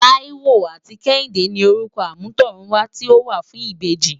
Taiwo áti Kehinde ni Órukò ámùtòrún wá ti ó wá fùn ibéji